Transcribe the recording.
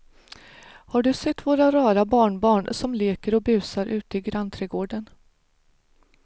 Har du sett våra rara barnbarn som leker och busar ute i grannträdgården!